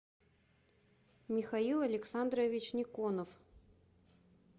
михаил александрович никонов